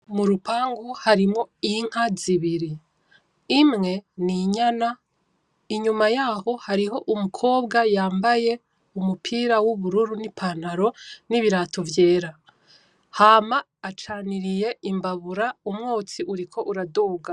M'urupangu harimwo inka zibiri, imwe n'inyana, inyuma yaho hari umukobwa yambaye umupira w'ubururu n'ipantaro nibirato vyera. Hama acaniriye imbabura umwotsi uriko uraduga.